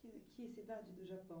Que que cidade do Japão?